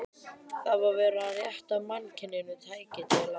Það var verið að rétta mannkyninu tæki til að